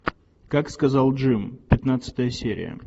как сказал джим пятнадцатая серия